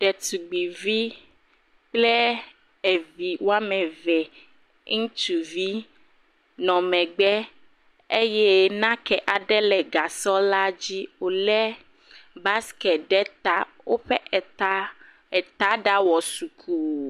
Ɖetugbuivi kple evi woame eve, ŋutsuvi nɔ megbe eye nake aɖe le gasɔ la dzi. Wole busketi ɖe ta. Woƒe eta ɖa wɔ zuku.